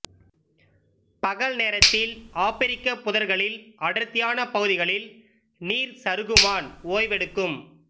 பகல் நேரத்தில் ஆப்பிரிக்கப் புதர்களில் அடர்த்தியான பகுதிகளில் நீர்ச் சருகுமான் ஓய்வெடுக்கும்